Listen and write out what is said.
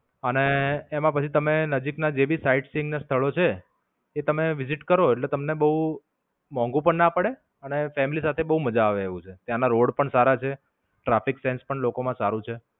અને એમાં પછી તમે નજીક ના જે ભી side scene ના સ્થળો છે એ તમે visit કરો એટલે તમને બોવ મોંઘુ પણ ના પડે અને family સાથે બવ મજા આવે એવું છે ત્યાંના રોડ પણ સારા છે. traffic sense પણ લોકો માં સારું છે.